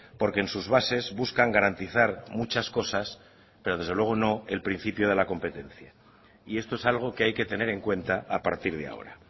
porque en sus bases buscan garantizar muchas cosas pero desde luego no el principio de la competencia y esto es algo que hay que tener en cuenta a partir de ahora